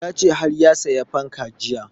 Ya ce har ya sayi fankan jiya